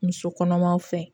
Muso kɔnɔmaw fɛ